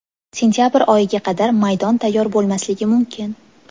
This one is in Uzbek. Sentabr oyiga qadar maydon tayyor bo‘lmasligi mumkin.